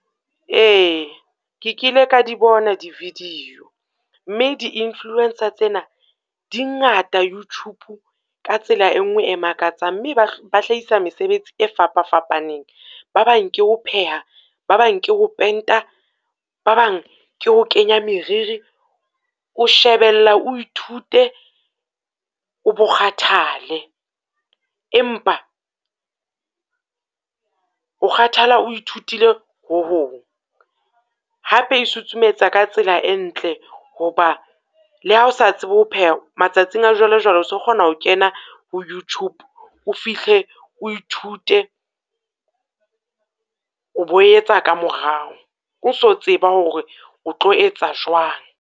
Ee, ke kile ka di bona di-video mme di-influencer tsena di ngata Youtube ka tsela e nngwe e makatsang, mme ba ba hlahisa mesebetsi e fapafapaneng. Ba bang ke ho pheha, ba bang ke ho penta, ba bang ke ho kenya meriri, o shebella o ithute, o bo kgathale. Empa o kgathala o ithutile ho hong. Hape e susumetsa ka tsela e ntle ho ba le ha o sa tsebe ho pheha matsatsing a jwalejwale, o se o kgona na ho kena ho Youtube o fihle o ithute, o bo etsa ka morao, o so tseba hore o tlo etsa jwang.